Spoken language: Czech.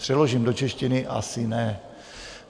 Přeložím do češtiny: asi ne.